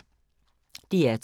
DR2